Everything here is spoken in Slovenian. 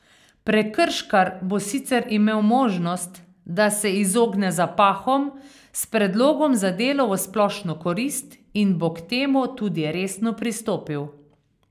Prekrškar bo sicer imel možnost, da se izogne zapahom s predlogom za delo v splošno korist in bo k temu tudi resno pristopil.